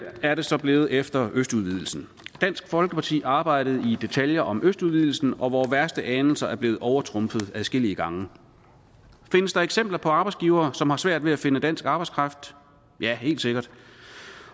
er det så blevet efter østudvidelsen dansk folkeparti arbejdede i detaljer om østudvidelsen og vore værste anelser er blevet overtrumfet adskillige gange findes der eksempler på arbejdsgivere som har svært ved at finde dansk arbejdskraft ja helt sikkert